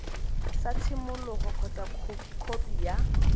sa tshimologo kgotsa khopi ya